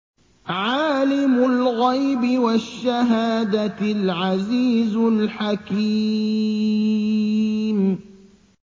عَالِمُ الْغَيْبِ وَالشَّهَادَةِ الْعَزِيزُ الْحَكِيمُ